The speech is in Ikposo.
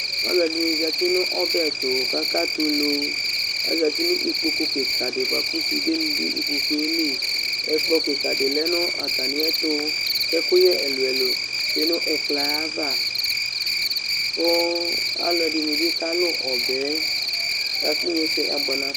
Alʋ ɛdɩnɩ zati nʋ ɔbɛ, kʋ akatɛ ulu, azati nʋ ikpoku kɩka dɩ bʋa kʋ sudenɩ dʋ ikpoku yɛ li, ɛkplɔ kɩka dɩ lɛ nʋ atamɩ ɛtʋ, kʋ ɛkʋyɛ ɛlʋ-ɛlʋ tsue nʋ ikpoku yɛ ava, kʋ alʋ ɛdɩnɩ bɩ kalʋ ɔbɛ yɛ, la kʋ inyesɛ abʋɛ nafa